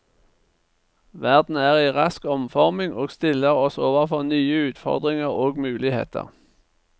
Verden er i rask omforming og stiller oss overfor nye utfordringer og muligheter.